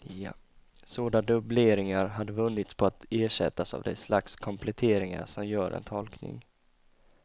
Sådana dubbleringar hade vunnits på att ersättas av det slags kompletteringar som gör en tolkning.